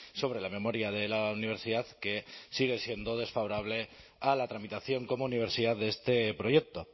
sobre la memoria de la universidad que sigue siendo desfavorable a la tramitación como universidad de este proyecto